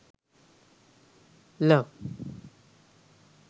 love